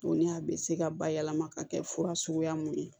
Tuguni a bɛ se ka bayɛlɛma ka kɛ fura suguya mun ye